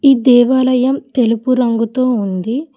ఈ దేవాలయం తెలుపు రంగుతో ఉంది.